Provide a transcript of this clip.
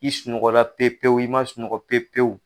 I sunɔgɔ la pe pewu i man sunɔgɔ pe pewu.